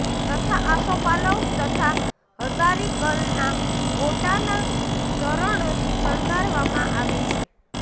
તથા આસોપાલવ તથા હઝારીગલના ગોટાના તોરણોથી શણગારવામાં આવે છે